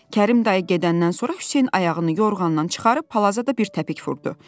Kərim dayı gedəndən sonra Hüseyn ayağını yorğandan çıxarıb palaza da bir təpik vurdu.